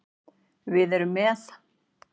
Við erum með